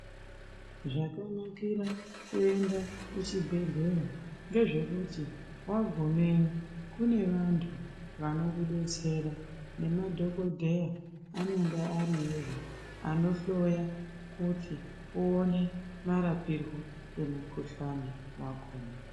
Zvakanakira kuenda kuchibhehlera ngezvekuti wagumeyo kune vantu vanokudetsera nemadhokodheya anenge ariyozve anohloya kuti uwone marapirwo emukhuhlane wakona.